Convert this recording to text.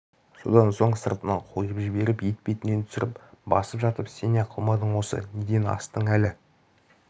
содан соң сыртынан қойып жіберіп етпетінен түсіріп басып жатып сен не қылмадың осы неден астың әлі